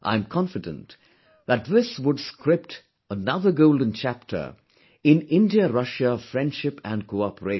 I am confident that this would script another golden chapter in IndiaRussia friendship and cooperation